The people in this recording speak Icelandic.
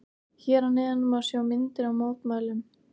Hér að neðan má sjá myndir af mótmælunum.